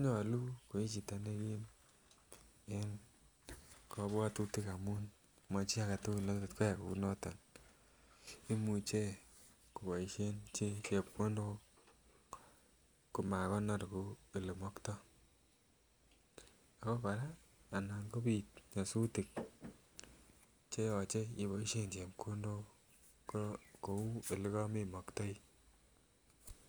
nywlunkoichuto en kabwatutik amun Machi agetugul netot koyai Kouniton imuche kobaishen chepkondok komakonor Kou olemaktai koraa anan kobit nyasutiet cheyache ibaishen chepkondok Kou yelekamemaktai